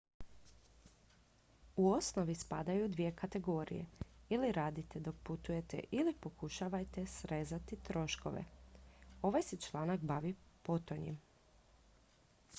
u osnovi spadaju u dvije kategorije ili radite dok putujete ili pokušajte srezati troškove ovaj se članak bavi potonjim